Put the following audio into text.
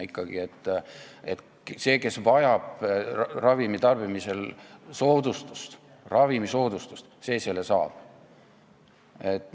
Inimene, kes vajab ravimi tarbimiseks soodustust, see selle ka saab.